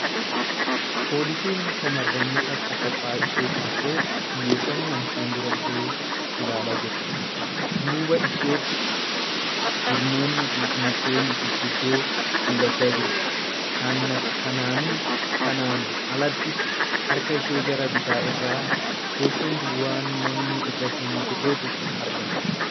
Poolisiin shamarranii takka kophaa ishee teessee xiyyeeffannoon fuuldura ishee ilaalaa jirti . Dudduuba isheetti jirmoonni mukkeen gurguddaa mul'achaa jiru. Kanaan alattis, harka ishee gara bitaa irraan teessoo duwwaan namni irra hin jirretu argama.